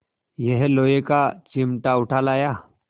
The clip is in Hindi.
यह लोहे का चिमटा उठा लाया